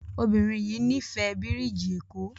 Obirin yii n'ifẹ birigi eko